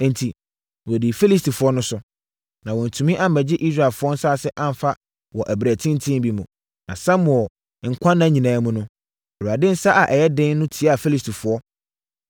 Enti, wɔdii Filistifoɔ no so, na wɔantumi ammɛgye Israelfoɔ nsase amfa wɔ ɛberɛ tenten bi mu. Na Samuel nkwa nna mu nyinaa, Awurade nsa a ɛyɛ den no tiaa Filistifoɔ.